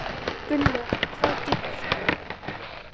Gunnlöð, hvað geturðu sagt mér um veðrið?